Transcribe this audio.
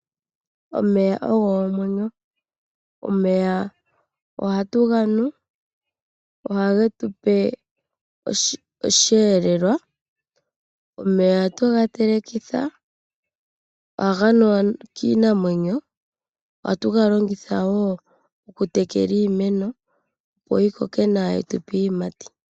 Omeya ogo omwenyo. Omeya oha tu ganu, momeya oha mu tu zile osheelelwa, omeya oga tu ga telekitha, oha ga nuwa kiinamwenyo, oha tu ga longitha woo oku tekela iimeno opo yi koke nawa yi tu pe iiyimati.